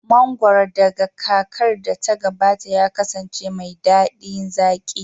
Mangoro daga kakar da ta gabata ya kasance mai daɗi zaƙi